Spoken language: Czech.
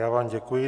Já vám děkuji.